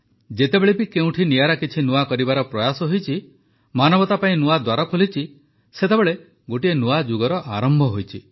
ଯେତେବେଳେ ବି କେଉଁଠି ନିଆରା କିଛି ନୂଆ କରିବାର ପ୍ରୟାସ ହୋଇଛି ମାନବତା ପାଇଁ ନୂଆ ଦ୍ୱାର ଖୋଲିଛି ଗୋଟିଏ ନୂଆ ଯୁଗର ଆରମ୍ଭ ହୋଇଛି